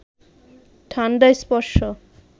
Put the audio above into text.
ঠান্ডা স্পর্শ